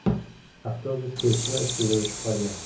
Avtobus kesishma ustida o‘chib qolgan.